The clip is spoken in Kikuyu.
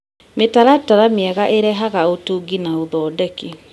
Mĩtaratara mĩega ĩrehaga ũtungi na ũthondeki.